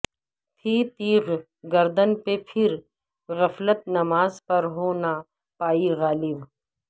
تھی تیغ گردن پہ پھر غفلت نماز پر ہو نہ پائی غالب